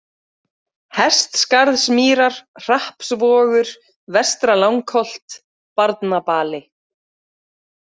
Hestskarðsmýrar, Hrappsvogur, Vestra-Langholt, Barnabali